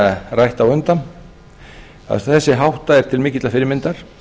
rætt á undan þessi hátta er til mikillar fyrirmyndar